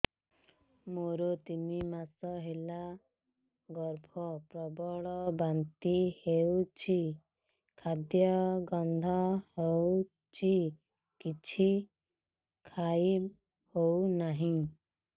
ମୋର ତିନି ମାସ ହେଲା ଗର୍ଭ ପ୍ରବଳ ବାନ୍ତି ହଉଚି ଖାଦ୍ୟ ଗନ୍ଧ ହଉଚି କିଛି ଖାଇ ହଉନାହିଁ